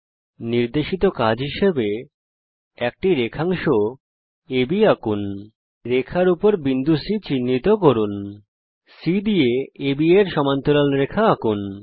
একটি নির্দেশিত কাজের রূপে আমি চাই যে আপনি একটি রেখাংশ আব আঁকুন রেখার উপরে বিন্দু C চিহ্নিত করুন C দিয়ে আব এর সমান্তরাল একটি রেখা আঁকুন